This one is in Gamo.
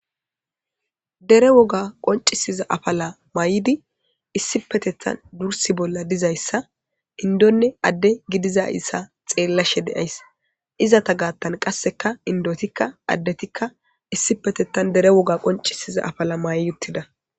dere woga qoncisiza afala may7di issi petetan dursi bolla dizayssa indonne adde gidiza issa xeellashe deyays izata gaattan qasseka indotikka addetikka issipetettan dere woga qoncisiza afala may uttida